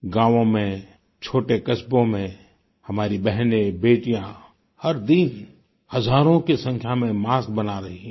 गांवों में छोटे कस्बों में हमारी बहनेंबेटियाँ हर दिन हजारों की संख्या में मास्क बना रही हैं